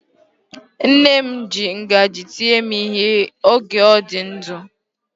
Nne m ji ngaji tie m ihe oge ọ dị ndụ.